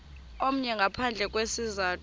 omnye ngaphandle kwesizathu